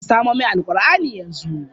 Ka samo min Alqur'ani yanzu!